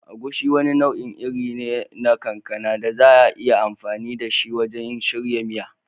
Agushi wani nau'in iri ne na kankana da za a iya amfani da shi wajen shirya miya.